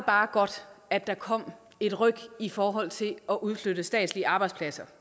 bare godt at der kom et ryk i forhold til at udflytte statslige arbejdspladser